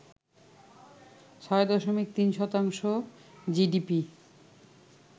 ৬ দশমিক ৩ শতাংশ জিডিপি